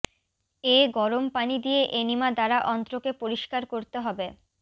এ গরম পানি দিয়ে এনিমা দ্বারা অন্ত্রকে পরিষ্কার করতে হবে